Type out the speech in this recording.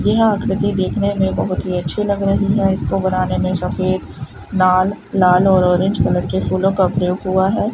यह आकृति देखने में बहुत ही अच्छे लग रही है इसको बनाने में सफेद लाल लाल और ऑरेंज कलर के फूलों का प्रयोग हुआ है।